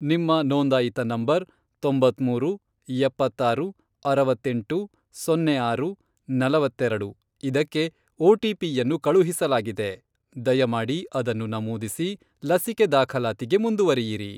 ನಿಮ್ಮ ನೋಂದಾಯಿತ ನಂಬರ್, ತೊಂಬತ್ಮೂರು, ಎಪ್ಪತ್ತಾರು, ಅರವತ್ತೆಂಟು, ಸೊನ್ನೆ ಆರು, ನಲವತ್ತೆರೆಡು, ಇದಕ್ಕೆ ಒಟಿಪಿಯನ್ನು ಕಳುಹಿಸಲಾಗಿದೆ, ದಯಮಾಡಿ ಅದನ್ನು ನಮೂದಿಸಿ ಲಸಿಕೆ ದಾಖಲಾತಿಗೆ ಮುಂದುವರಿಯಿರಿ.